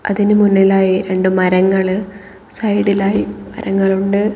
അതിന്റെ മുന്നിലായി രണ്ട് മരങ്ങള് സൈഡിലായി മരങ്ങളുണ്ട്.